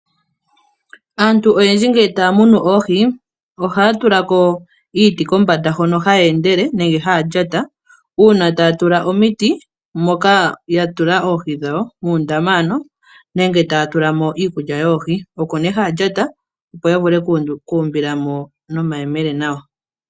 Aantu oyendji ngele taya munu oohi ohaya tula ko iiti hoka haya endele nenge haya lyata uuna taya tula omiti moka ya tula oohi dhawo, muundama ano nenge taya tula mo iikulya yoohi. Oko nduno haya lyata, opo ya vule okuumbila mo nawa nomayemele.